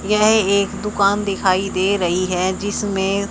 यह एक दुकान दिखाई दे रहीं हैं जिसमें--